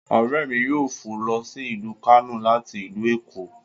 Ọ̀ré mi yóò fọ̀ ló sí ilu Kano láti ilu Eko